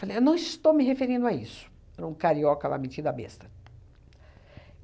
Falei eu não estou me referindo a isso, para um carioca lá metido a besta.